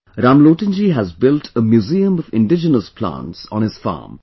Ramlotan ji has built a museum of indigenous plantson his farm